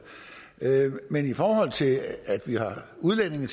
men i forhold til at vi har udlændinge